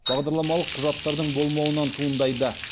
бағдарламалық құжаттардың болмауынан туындайды